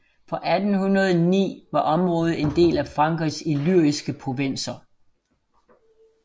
Fra 1809 var området en del af Frankrigs Illyriske provinser